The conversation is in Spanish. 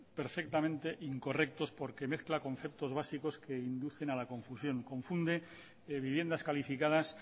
perfectamente incorrectos porque mezcla conceptos básicos que inducen a la confusión confunde viviendas calificadas